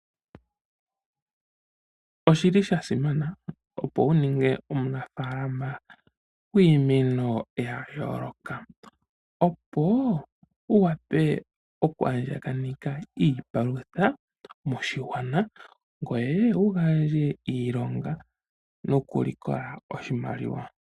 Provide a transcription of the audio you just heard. Oshili sha simana opo wu ninge omunafalama gwiimeno ya yooloka opo wu wape oku andjapaneka iipalutha moshigwana ngwe wugandje iilonga nokulikola oshimaliwa.